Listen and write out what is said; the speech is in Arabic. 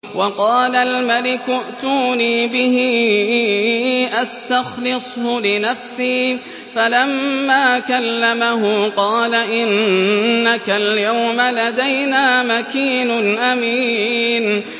وَقَالَ الْمَلِكُ ائْتُونِي بِهِ أَسْتَخْلِصْهُ لِنَفْسِي ۖ فَلَمَّا كَلَّمَهُ قَالَ إِنَّكَ الْيَوْمَ لَدَيْنَا مَكِينٌ أَمِينٌ